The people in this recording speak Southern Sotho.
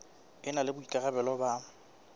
e na le boikarabelo ba